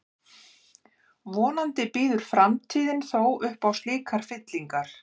Vonandi býður framtíðin þó upp á slíkar fyllingar.